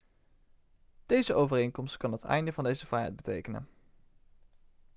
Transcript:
deze overeenkomst kan het einde van deze vrijheid betekenen